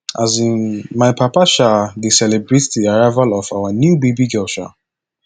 um my papa um dey celebrate di arrival of our new baby girl um